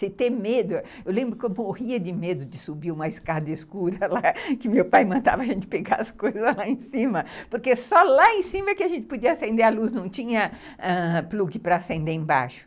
Se ter medo... Eu lembro que eu morria de medo de subir uma escada escura lá, que meu pai mandava a gente pegar as coisas lá em cima, porque só lá em cima que a gente podia acender a luz, não tinha ãh plug para acender embaixo.